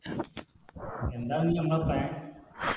എന്താണ് ഇനി ഞമ്മളെ plan